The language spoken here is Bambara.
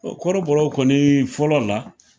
Ɔn kɔrɔbɔro kɔni fɔlɔ la.